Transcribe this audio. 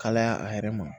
Kalaya a yɛrɛ ma